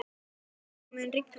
Míó, mun rigna í dag?